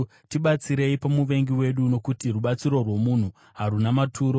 Tibatsirei pamuvengi wedu, nokuti rubatsiro rwomunhu haruna maturo.